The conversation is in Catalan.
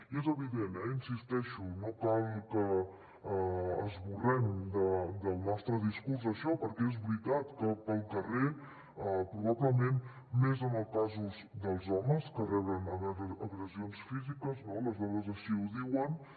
i és evident eh hi insisteixo no cal que esborrem del nostre discurs això perquè és veritat que pel carrer probablement més en els casos dels homes que reben agressions físiques no les dades així ho diuen